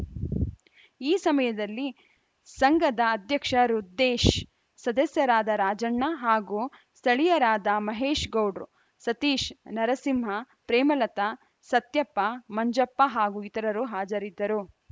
ಈ ಸಮಯದಲ್ಲಿ ಸಂಘದ ಅಧ್ಯಕ್ಷ ರುದ್ದೇಶ್‌ ಸದಸ್ಯರಾದ ರಾಜಣ್ಣ ಹಾಗೂ ಸ್ಥಳೀಯರಾದ ಮಹೇಶ್‌ ಗೌಡ್ರು ಸತೀಶ್‌ ನರಸಿಂಹ ಪ್ರೇಮಲತಾ ಸತ್ಯಪ್ಪ ಮಂಜಪ್ಪ ಹಾಗೂ ಇತರರು ಹಾಜರಿದ್ದರು